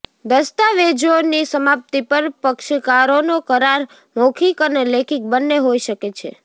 દસ્તાવેજોની સમાપ્તિ પર પક્ષકારોનો કરાર મૌખિક અને લેખિત બન્ને હોઈ શકે છે